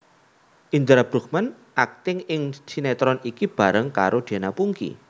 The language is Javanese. Indra Bruggman akting ing sinetron iki bareng karo Diana Pungky